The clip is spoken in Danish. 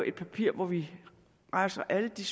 et papir hvor vi rejser alle de